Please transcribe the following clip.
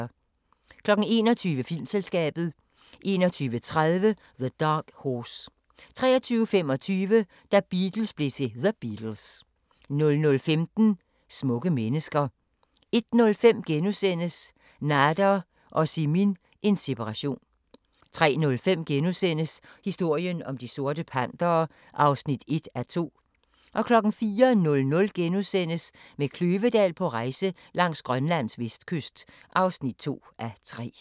21:00: Filmselskabet 21:30: The Dark Horse 23:25: Da Beatles blev til The Beatles 00:15: Smukke mennesker 01:05: Nader og Simin – en separation * 03:05: Historien om De Sorte Pantere (1:2)* 04:00: Med Kløvedal på rejse langs Grønlands vestkyst (2:3)*